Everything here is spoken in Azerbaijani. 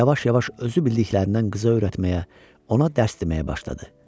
Yavaş-yavaş özü bildiklərindən qıza öyrətməyə, ona dərs deməyə başladı.